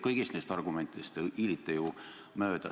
Kõigist neist argumentidest te hiilite ju mööda.